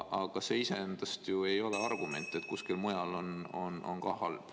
Aga see iseendast ju ei ole argument, et kuskil mujal on ka halb.